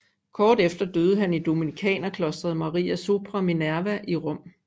Kort efter døde han i Dominikanerklostret Maria sopra Minerva i Rom